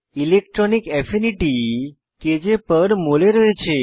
electronic affinity kjমল এ রয়েছে